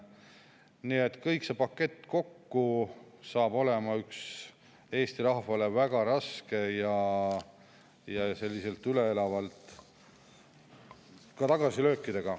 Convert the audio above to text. Nii et kõik see pakett kokku on Eesti rahvale väga raske ja toob tagasilööke.